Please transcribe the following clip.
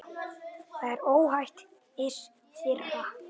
Þá er ógetið hins þriðja.